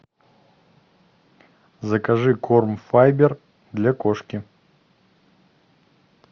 закажи корм файбер для кошки